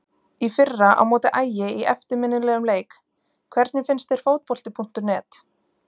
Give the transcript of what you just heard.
Í fyrra á móti Ægi í eftirminnilegum leik Hvernig finnst þér Fótbolti.net?